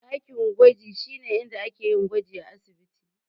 Dakin gwaji shine inda ake yin gwaji a asibiti.